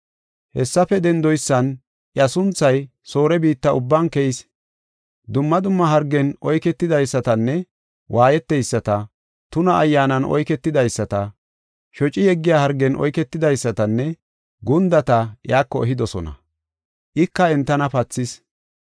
Hessafe dendoysan iya sunthay Soore biitta ubban keyis. Dumma dumma hargen oyketidaysatanne waayeteyisata, tuna ayyaanan oyketidaysata, shoci yeggiya hargen oyketidaysatanne, gundata iyako ehidosona; ika entana pathis.